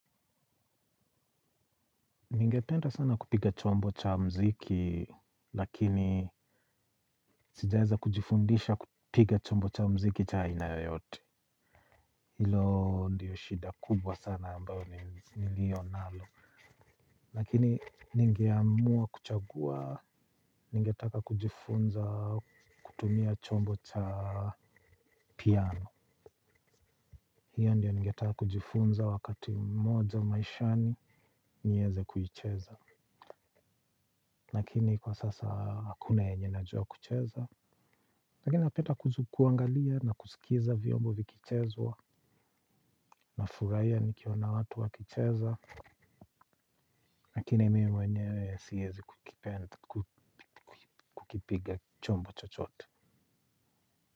Ningependa sana kupiga chombo cha mziki, lakini sijaeza kujifundisha kupiga chombo cha mziki cha aina yoyote. Hilo ndiyo shida kubwa sana ambayo niliyo nalo. Lakini ningeamua kuchagua, ningetaka kujifunza kutumia chombo cha piano. Hiyo ndiyo ningetaka kujifunza wakati mmoja maishani, nieze kuicheza. Lakini kwa sasa hakuna yenye najua kucheza lakini napenda kuangalia na kusikiza vyombo vikichezwa. Na furahia nikiona watu wakicheza. Lakini mimi mwenyewe siezi kukipiga chombo chochote.